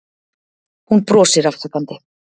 Hún brosir afsakandi.